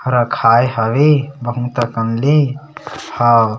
रखाय हवे बहुत ह कन ले हाउ --